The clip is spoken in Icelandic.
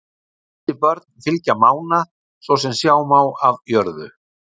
Þessi börn fylgja Mána, svo sem sjá má af jörðu.